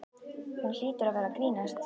Hún hlýtur að vera að grínast.